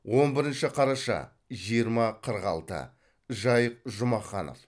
он бірінші қараша жиырма қырық алты жайық жұмаханов